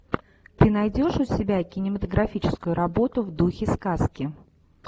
ты найдешь у себя кинематографическую работу в духе сказки